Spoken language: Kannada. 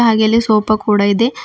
ಹಾಗೇ ಇಲ್ಲಿ ಸೋಪಾ ಕೂಡಾ ಇದೆ.